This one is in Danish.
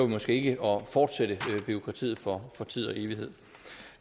måske ikke fortsætte bureaukratiet for tid og evighed